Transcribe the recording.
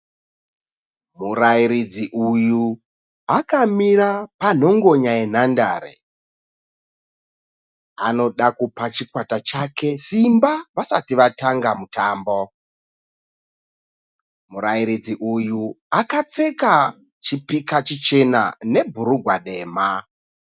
Murairidzi uyu akamira panhongonya yenhandare. Anoda kupa chikwata chake simba vasati vatanga mutambo. Murairidzi uyu akapfeka chipika chichena nebhurugwa dema.